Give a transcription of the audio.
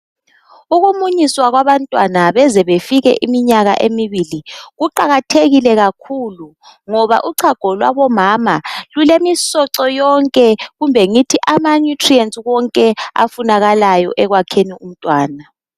Ukumunyiswa kwabantwana bezebefike iminyaka emibili kuqakathekile kakhulu ngoba uchago lwabo mama lulemisocho yonke kumbe ngithi ama nutrients wonke afunakalayo ekwakheni umntwana.